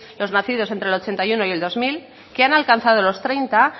los nacidos entre el ochenta y uno y el dos mil que han alcanzado los treinta